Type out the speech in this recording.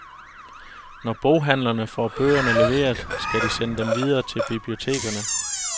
Når boghandlerne får bøgerne leveret, skal de sende dem videre til bibliotekerne.